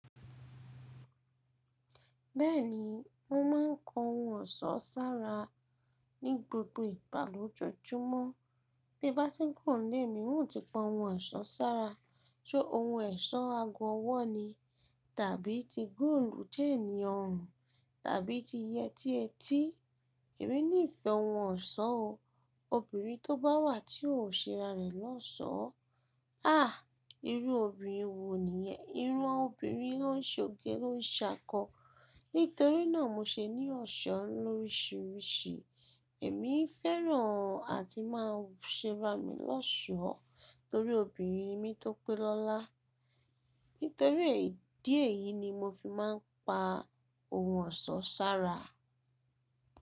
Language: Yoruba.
Bẹ́ẹ̀ni, mo ma ń kọ ohun ọsán sára ní gbogbo ìgbà lójoojúmọ́. Bí bá ti kúrò ní'lé mi, n o ti pa ohun ẹ̀sọ́ sára. Ṣé ohun ẹ̀sọ́ ago ọwọ́ ni, tàbí ti gúùlù téènì ọrùn, tàbí ti yẹtí etí. Èmi ní ìfẹ́ ohun ọ̀ṣọ́ o. Obìnrin tó bá wà tí ò ṣe ra rẹ̀ lọ́ṣọ̀ọ́, "háà! Irú obìnrin wo nìyẹn?" ìran ọmọbìnrin ló ń ṣoge ló ń ṣakọ. Nítorí náà mo ṣe ní ọ̀ṣọ́ lọ́ríṣiríṣi. Èmi fẹ́ràn àti máà ń ṣe ra mi lọ́ṣọ̀ọ́ torí obìnrin ni mí tó pé lọ́lá. Nítorí èyí díẹ̀ yìí ni mo fi máà ń pa ohun ọ̀ṣọ́ sára.